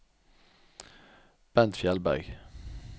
Bent Fjeldberg